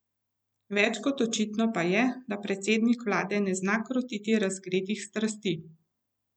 Več kot očitno pa je, da predsednik vlade ne zna krotiti razgretih strasti.